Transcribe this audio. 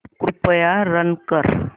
कृपया रन कर